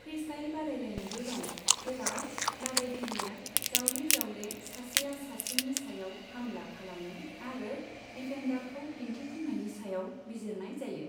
Freestyle बादायलायनायबो दं, जेराव बादायगिरिआ जावले जावले सासेआ सासेनि सायाव हामला खालामो आरो दिफेन्दारखौ दिन्थिफुंनायनि सायाव बिजिरनाय जायो।